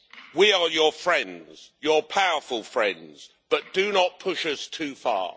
We are your friends your powerful friends but do not push us too far.